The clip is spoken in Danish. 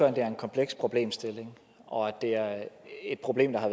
at det er en kompleks problemstilling og at det er et problem der har